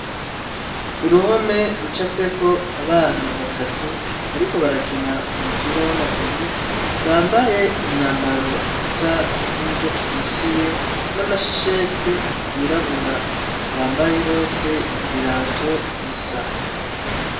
Uruhome rucapfyeko abana batatu, bariko barakina umupira w,amaguru, bambaye imyambaro isa n’umutoto uhishiye , n’amashesheti yirabura, bambaye bose ibirato bisa.